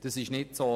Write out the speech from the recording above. Dem ist nicht so.